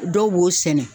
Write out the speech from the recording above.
Dɔw b'o sɛnɛ